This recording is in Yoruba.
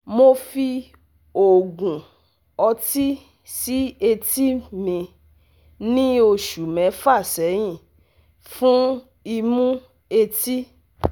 Mo fi òògùn ọtí sí etí mi ní oṣù mẹ́fà sẹ́yìn fún imú etí